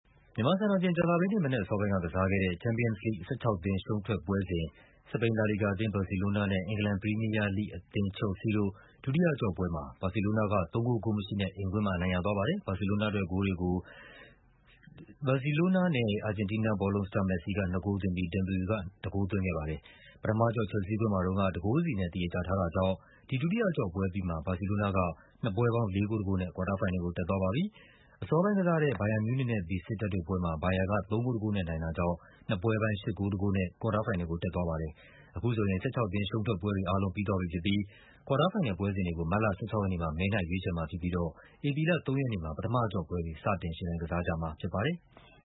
မြန်မာစံတော်ချိန် ကြာသပတေးနေ့ မနက်အစောပိုင်းက ကစားခဲ့တဲ့ Champions League ၁၆ သင်း ရှုံးထွက်ပွဲစဉ် စပိန် လာလီဂါ အသင်း ဘာစီလိုနားနဲ့ အင်္ဂလန် ပရီးမီးယားလိဂ် ချယ်လ်စီ အသင်းတို့ ဒုတိယအကျော့ပွဲမှာ ဘာစီလိုးနားက ၃ ဂိုး ဂိုးမရှိနဲ့ အိမ်ကွင်းမှာ အနိုင်ရသွားပါတယ်။ ပထမအကျော့ ချယ်လ်ဆီးကွင်းမှာတုန်းက ၁ ဂိုးစီနဲ့ သရေကျထားတာကြောင့် ဒီ ဒုတိယအကျော့ပွဲအပြီးမှာ ဘာစီလိုးနားက နှစ်ပွဲ ပေါင်း ၄ ဂိုး ၁ ဂိုးနဲ့ ကွာတားဖိုင်နယ်ကို တက်သွားပါပြီ။ အစောပိုင်းကစားတဲ့ ဘိုင်ယန်မြူးနစ်နဲ့ ဘီဆစ်တပ်တို့ပွဲမှာ ဘိုင်ယန်က ၃ ဂိုး ၁ ဂိုးနဲ့ နိုင်တာကြောင့် နှစ်ပွဲပေါင်း ၈ ဂိုး ၁ ဂိုးနဲ့ ကွာတားဖိုင်နယ်ကို တက်သွားပါတယ်။ အခုဆိုရင် ၁၆ သင်း ရှုံးထွက်ပွဲတွေအားလုံး ပြီးသွားပြီဖြစ်ပြီး ကွာတားဖိုင်နယ်ပွဲစဉ်တွေကို မတ်လ ၁၆ ရက်နေ့မှာ မဲနှိုက်ရွေးချယ် မှာဖြစ်ပြီးတော့ ဧပြီလ ၃ ရက်နေ့မှာ ပထမအကျော့ပွဲတွေ စတင်ယှဉ်ပြိုင်ကြမှာဖြစ်ပါတယ်။